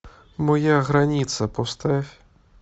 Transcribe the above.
моя граница поставь